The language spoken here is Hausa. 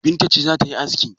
Binta ce za ta yi aski?